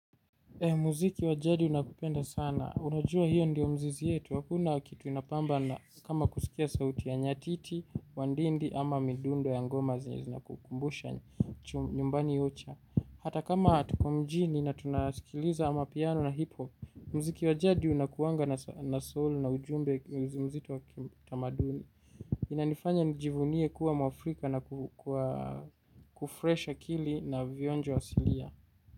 Muziki wajadi unakupenda sana, unajua hiyo ndiyo mzizi yetu, hakuna kitu inapamba na kama kusikia sauti ya nyatiti, wandindi ama midundo ya ngoma zenye zinakukumbusha nyumbani ocha. Hata kama tuko mjini na tunasikiliza amapiano na hip hop, mziki wajadi unakuanga na soul na ujumbe mzito wakitamaduni. Inanifanya njivunie kuwa mwaafrika na kufresh akili na vionjo asilia.